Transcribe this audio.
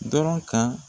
Dɔrɔn ka